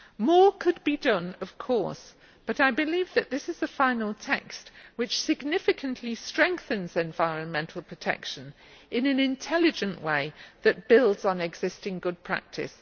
More could be done of course, but I believe that this is a final text which significantly strengthens environmental protection in an intelligent way that builds on existing good practice.